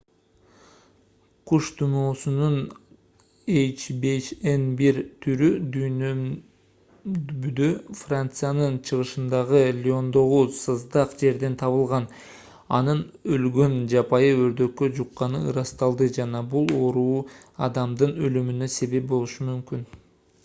куш тумоосунун h5n1 түрү дүйшөмбүдө франциянын чыгышындагы лиондогу саздак жерден табылган анын өлгөн жапайы өрдөккө жукканы ырасталды жана бул оору адамдын өлүмүнө себеп болушу мүмкүн